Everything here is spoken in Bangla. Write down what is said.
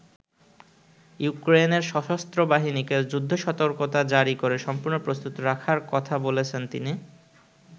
ইউক্রেনের সশস্ত্র বাহিনীকে যুদ্ধ-সতর্কতা জারী করে সম্পূর্ণ প্রস্তুত রাখার কথা বলেছেন তিনি।